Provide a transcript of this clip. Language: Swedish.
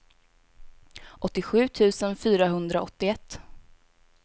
åttiosju tusen fyrahundraåttioett